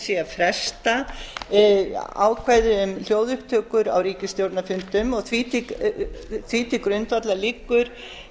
sé að fresta ákvæði um hljóðupptökur á ríkisstjórnarfundum og því til grundvallar liggur